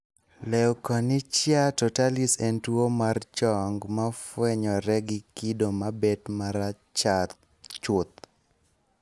Leukonychia totalis en tuwo mar chong ma fwenyore gi kido mabed ma rachar chuth.